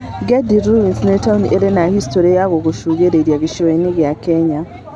Gedi Ruins nĩ taũni ĩrĩ na historĩ ya kũgucĩrĩria gĩcũa-inĩ gĩa Kenya.